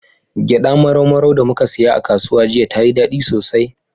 Gyaɗa marau maran da muka siya a kasuwa jiya, tayi daɗi sosai.